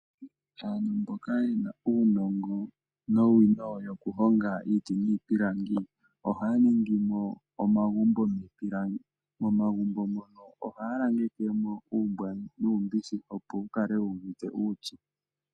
Aantu mboka yena uunongo nowino yokuhonga iiti niipilangi ohaya ningi mo omagumbo giipilangi. Momagumbo mono ohaya langeke mo uumbwa nuumbishi opo wu kale wuuvite uupyu.